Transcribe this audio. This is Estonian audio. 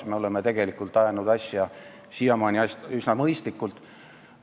Me oleme tegelikult ajanud siiamaani asju üsna mõistlikult.